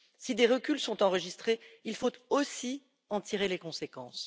Si des reculs sont enregistrés, il faut aussi en tirer les conséquences.